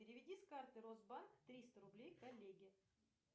переведи с карты росбанк триста рублей коллеге